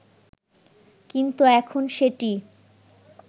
কিন্তু এখন সেটি